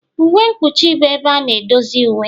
Uwe mkpuchi bụ ebe a na-edozi uwe.